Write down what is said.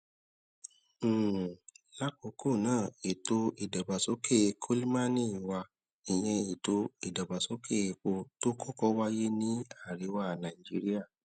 um lákòókó ná ètò ìdàgbàsókè kolmani wà ìyẹn ètò ìdàgbàsókè epo tó kókó wáyé ní àríwá nàìjíríà